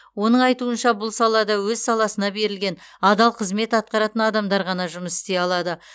оның айтуынша бұл салада өз саласына берілген адал қызмет атқаратын адамдар ғана жұмыс істей алады